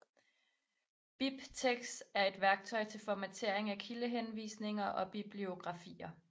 BibTeX er et værktøj til formatering af kildehenvisninger og bibliografier